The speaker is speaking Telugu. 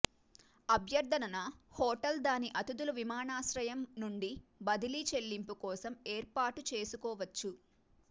అభ్యర్థన న హోటల్ దాని అతిథులు విమానాశ్రయం నుండి బదిలీ చెల్లింపు కోసం ఏర్పాటు చేసుకోవచ్చు